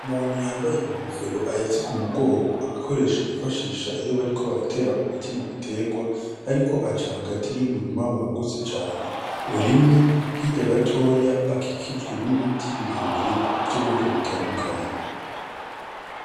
Umuntu yambaye inkofero ahetse k'umugongo agakoresho bifashisha iyo bariko baratera umuti mu biterwa, ariko aca hagati y'umurima wagutse cane urimye, hirya gato hakikujwe n'ibiti birebire vy'ubwoko butandukanye.